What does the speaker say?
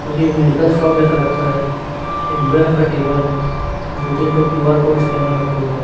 क्योंकि ये medical shop जैसा लगता है एक भूरे रंग का टेबल है दो तीन ठो क्यू_आर कोड स्कैनर रखे हुए हैं।